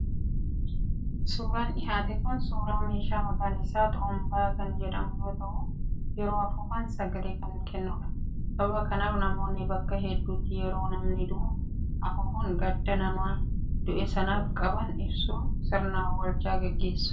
Suuraan dhiyaate kun suuraa meeshaa maqaan isaa Xurumbaa kan jedhamu yoo ta'u, yeroo afuufan sagalee kan kennuudha. Sababa kanaaf namoonni bakka hedduutti yeroo namni du'u afuufuun gadda nama du'e sanaaf qaban ibsuun sirna awwaalchaa gaggeessu.